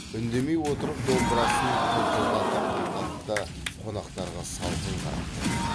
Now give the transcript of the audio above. үндемей отырып домбырасын тыңқылдатып тартады да қонақтарға салқын қарап қояды